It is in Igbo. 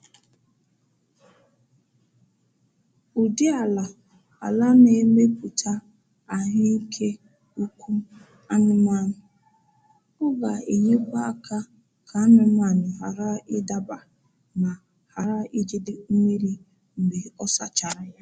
Ụdị ala ala na-emetụta ahụ ike ụkwụ anụmanụ. Ọ ga-enyekwa aka ka anụmanụ ghara ịdaba ma ghara ijide mmiri mgbe a sachara ya.